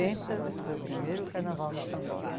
foi o primeiro carnaval no Sambódromo.